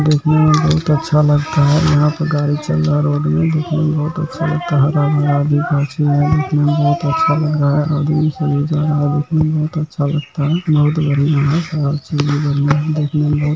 देखने में बहुत अच्छा लगता है यहाँ पे गाड़ी चल रहा है रोड में देखने में बहुत अच्छा लगता है देखने में बहुत अच्छा लग रहा है। आदमी लोग सब जा रहा है देखने में बहुत अच्छा लगता है बहुत बढ़िया है हर चीज़ में बढ़िया है देखने में बहुत --